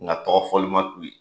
Nka tɔgɔ fɔli ma d'u ye.